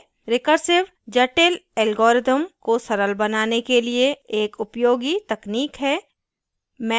recursion जटिल algorithms को सरल बनाने के लिए एक उपयोगी technique है